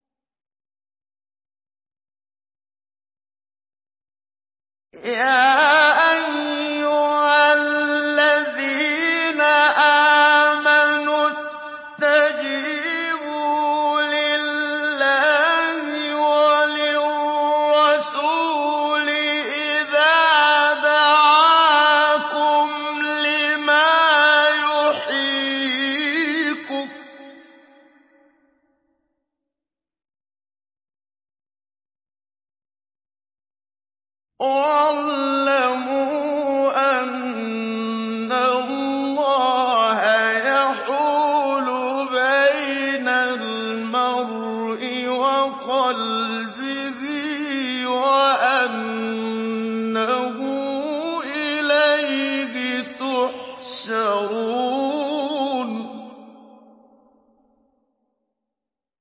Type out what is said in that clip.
يَا أَيُّهَا الَّذِينَ آمَنُوا اسْتَجِيبُوا لِلَّهِ وَلِلرَّسُولِ إِذَا دَعَاكُمْ لِمَا يُحْيِيكُمْ ۖ وَاعْلَمُوا أَنَّ اللَّهَ يَحُولُ بَيْنَ الْمَرْءِ وَقَلْبِهِ وَأَنَّهُ إِلَيْهِ تُحْشَرُونَ